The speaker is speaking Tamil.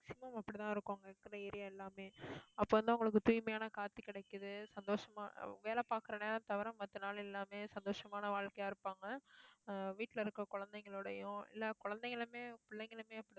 maximum அப்படித்தான் இருக்கும் அங்க இருக்கிற area எல்லாமே. அப்ப வந்து, உங்களுக்குத் தூய்மையான காத்து கிடைக்குது, சந்தோஷமா வேலை பாக்குற நேரம் தவிர மத்த நாள் எல்லாமே சந்தோஷமான வாழ்க்கையா இருப்பாங்க. ஆஹ் வீட்டுல இருக்க குழந்தைங்களோடையும், இல்லை குழந்தைகளுமே, பிள்ளைகளுமே